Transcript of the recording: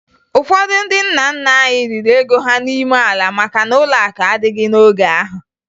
Ụfọdụ ndị nna nna anyị liri ego ha n'ime ala maka na ụlọakụ adịghị n'oge ahụ